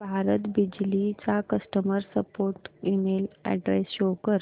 भारत बिजली चा customer support email address show कर